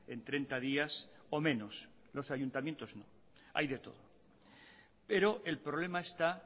en treinta días o menos los ayuntamientos no hay de todo pero el problema está